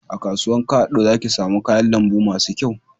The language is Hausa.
A kasuwan kado za ki samu kayan lambu masu kyau